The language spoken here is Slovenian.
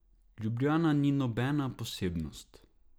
Ljubljana ni nobena posebnost.